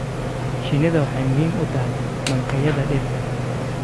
Shinnidu waxay muhiim u tahay mankaynta dhirta.